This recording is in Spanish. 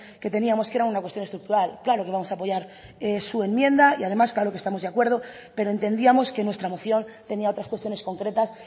que teníamos que era una cuestión estructural claro que vamos a apoyar su enmienda y además claro que estamos de acuerdo pero entendíamos que nuestra moción tenía otras cuestiones concretas